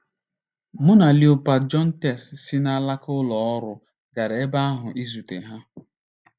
Mụ na Léopold Jontès si n'alaka ụlọ ọrụ gara ebe ahụ izute ha.